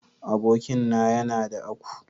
Abokin na ya na da aku.